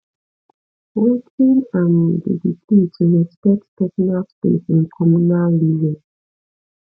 wetin um be di key to respect personal space in communal living